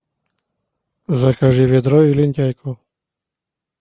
закажи ведро и лентяйку